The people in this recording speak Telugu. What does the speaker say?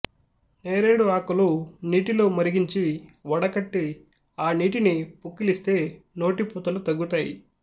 నేరేడు ఆకులు నీటిలో మరిగించి వడగట్టి ఆ నీటిని పుక్కిలిస్తే నోటిపూతలు తగ్గుతాయి